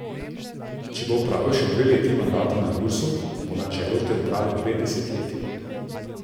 Če bo opravil še dve leti mandata na Gursu, bo na čelu te uprave dve desetletji.